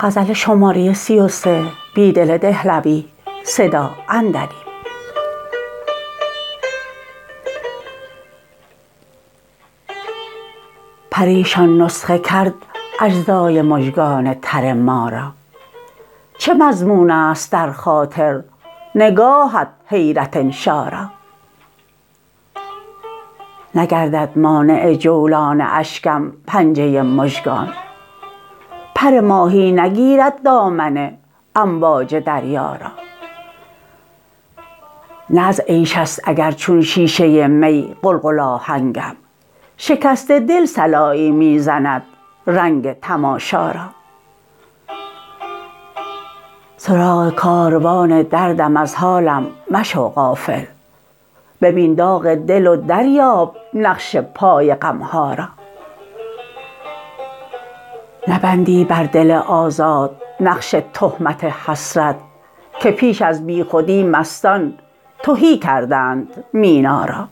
پریشان نسخه کرد اجزای مژگان تر ما را چه مضمون است در خاطر نگاه حیرت انشا را نگردد مانع جولان اشکم پنجه مژگان پر ماهی نگیرد دامن امواج دریا را نه از عیش است اگر چون شیشه می قلقل آ هنگم شکست دل صلایی می زند رنگ تماشا را سراغ کاروان دردم از حالم مشو غافل ببین داغ دل و دریاب نقش پای غمها را نبندی بر دل آزاد نقش تهمت حسرت که پیش از بی خودی مستان تهی کردند مینا را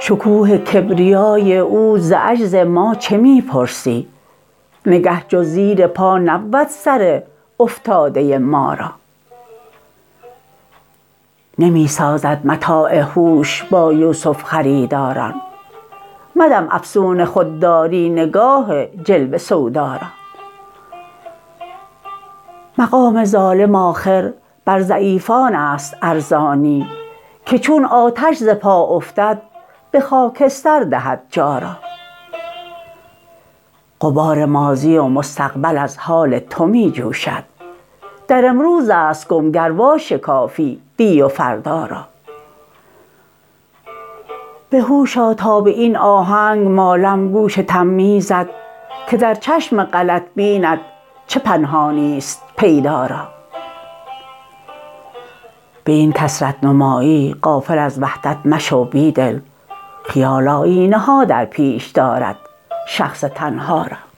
شکوه کبریای او ز عجز ما چه می پرسی نگه جز زیر پا نبود سر افتاده ما را نمی سازد متاع هوش با یوسف خریداران مدم افسون خودداری نگاه جلوه سودا را مقام ظالم آخر بر ضعیفان است ارزانی که چون آتش ز پا افتد به خاکستر دهد جا را غبار ماضی و مستقبل از حال تو می جوشد در امروز است گم گر واشکافی دی و فردا را به هوش آ تا به این آهنگ مالم گوش تمییزت که در چشم غلط بینت چه پنهانی ست پیدا را به این کثرت نمایی غافل از وحدت مشو بیدل خیال آیینه ها درپیش دارد شخص تنها را